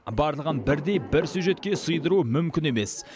барлығын бірдей бір сюжетке сыйдыру мүмкін емес